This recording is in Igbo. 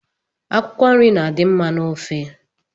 Akwụkwọnri na-adị mma n'ofe